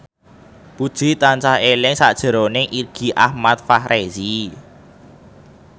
Puji tansah eling sakjroning Irgi Ahmad Fahrezi